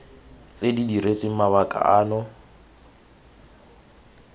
tse di diretsweng mabaka ano